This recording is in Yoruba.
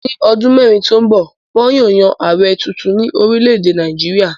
Ní ọdún mẹ́rin tó ń bọ̀, wọn yóò yan Ààrẹ tunrun ní orílẹ̀-èdè Nàìjíríà.